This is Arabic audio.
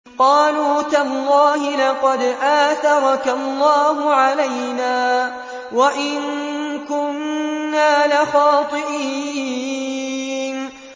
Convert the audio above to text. قَالُوا تَاللَّهِ لَقَدْ آثَرَكَ اللَّهُ عَلَيْنَا وَإِن كُنَّا لَخَاطِئِينَ